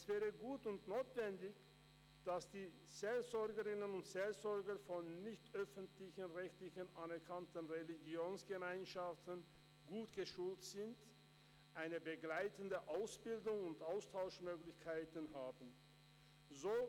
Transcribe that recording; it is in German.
Es wäre gut und notwendig, dass die Seelsorgerinnen und Seelsorger von nicht öffentlich-rechtlich anerkannten Religionsgemeinschaften gut geschult werden, eine begleitende Ausbildung und Austauschmöglichkeiten haben.